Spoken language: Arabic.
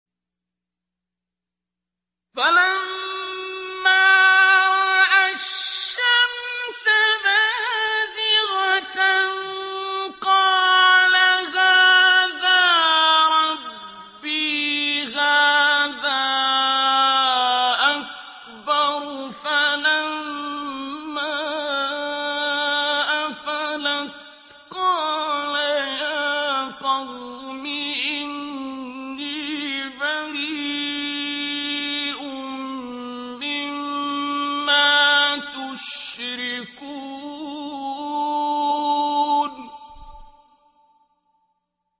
فَلَمَّا رَأَى الشَّمْسَ بَازِغَةً قَالَ هَٰذَا رَبِّي هَٰذَا أَكْبَرُ ۖ فَلَمَّا أَفَلَتْ قَالَ يَا قَوْمِ إِنِّي بَرِيءٌ مِّمَّا تُشْرِكُونَ